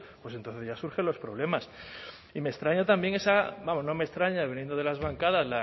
pues entonces ya surgen los problemas y me extraña también esa vamos no me extraña viniendo de las bancadas